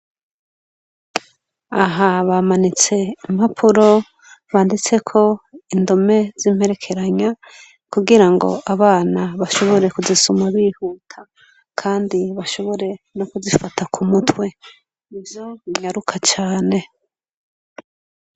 Aha bamanitse impapuro banditseko indome z'imperekeranya kugira ngo abana bashobore kuzisoma bihuta kandi bashobore no kuzifata ku mutwe nivyo nyaruka cane.